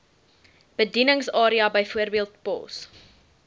bedieningsarea bv pos